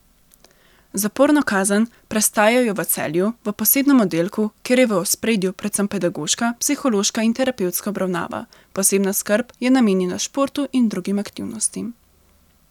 Zaporno kazen prestajajo v Celju, v posebnem oddelku, kjer je v ospredju predvsem pedagoška, psihološka in terapevtska obravnava, posebna skrb je namenjena športu in drugim aktivnostim.